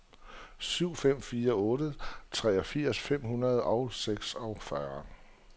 syv fem fire otte treogfirs fem hundrede og seksogfyrre